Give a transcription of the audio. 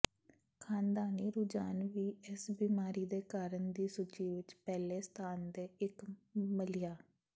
ਖ਼ਾਨਦਾਨੀ ਰੁਝਾਨ ਵੀ ਇਸ ਬਿਮਾਰੀ ਦੇ ਕਾਰਨ ਦੀ ਸੂਚੀ ਵਿਚ ਪਹਿਲੇ ਸਥਾਨ ਦੇ ਇੱਕ ਮੱਲਿਆ